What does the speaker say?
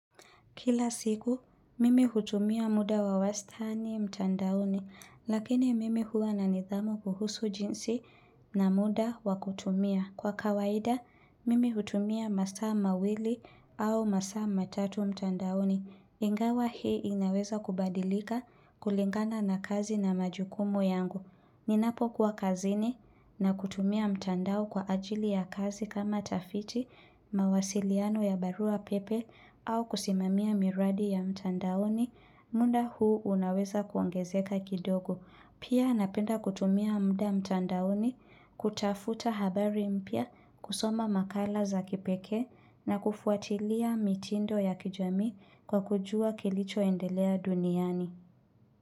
Kila siku, mimi hutumia muda wa wastani mtandaoni, lakini mimi huwa na nidhamu kuhusu jinsi na muda wa kutumia. Kwa kawaida, mimi hutumia masaa mawili au masa matatu mtandaoni. Ingawa hii inaweza kubadilika kulingana na kazi na majukumu yangu. Ninapokuwa kazini na kutumia mtandao kwa ajili ya kazi kama tafiti mawasiliano ya barua pepe au kusimamia miradi ya mtandaoni munda huu unaweza kuongezeka kidogo. Pia napenda kutumia mda mtandaoni kutafuta habari mpya kusoma makala za kipekee na kufuatilia mitindo ya kijami kwa kujua kilichoendelea duniani.